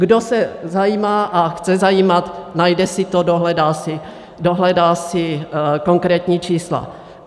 Kdo se zajímá a chce zajímat, najde si to, dohledá si konkrétní čísla.